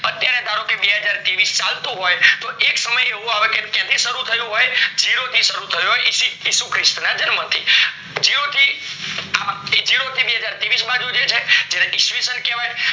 અત્યારે સહારો કે બે હાજર ત્રેવીસ ચાલતું હોય તો એક સમય એવો આવે કે ત્યાંથી શરુ થયું હોય જીરો થી શરુ થયું હોય ઈશુખ્રીસ્તી ના જન્મ થી આ જીરો થી બેહાઝાર ત્રેવીસ બાજુ છે જે છે એને ઈશ્વીશન કહેવાય